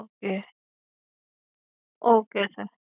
okay okay sir